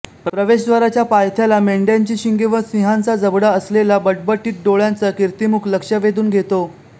प्रवेशद्वाराच्या पायथ्याला मेंढ्यांची शिंगे व सिंहाचा जबडा असलेला बटबटीत डोळ्यांचा किर्तीमुख लक्ष वेधून घेतो